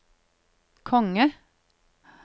konge